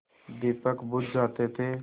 दीपक बुझ जाते थे